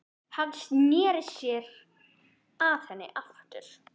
Hann sneri sér að henni aftur.